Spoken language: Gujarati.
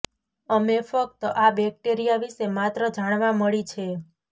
અમે ફક્ત આ બેક્ટેરિયા વિશે માત્ર જાણવા મળી છે